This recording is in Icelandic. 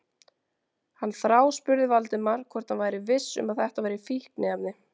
Hann þráspurði Valdimar hvort hann væri viss um að þetta væru fíkniefni.